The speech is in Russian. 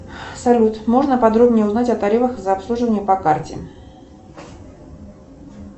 салют можно подробнее узнать о тарифах за обслуживание по карте